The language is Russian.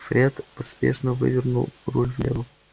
фред поспешно вывернул руль влево